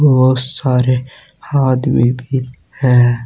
बहुत सारे आदमी भी हैं।